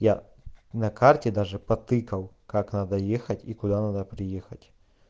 я на карте даже потыкал как надо ехать и куда надо приехать